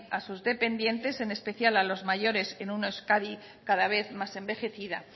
a sus dependientes en especial a los mayores en una euskadi cada vez más envejecida